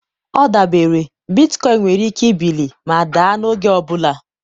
ọ dabere, bitcoin nwere ike ibili ma daa n'oge ọ bụla.